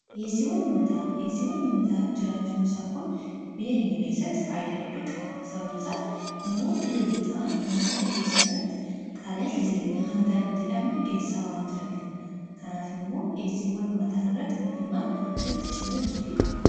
Dhiyeessiiwwan uummataa jiraachuun isaa kun biyya keenya keessatti faayidaa madaalamuu hin dandeenye fi bakka bu’iinsa hin qabne qaba. Jireenya guyyaa guyyaa keessatti ta’ee, karoora yeroo dheeraa milkeessuu keessatti gahee olaanaa taphata. Faayidaan isaa kallattii tokko qofaan osoo hin taane, karaalee garaa garaatiin ibsamuu danda'a.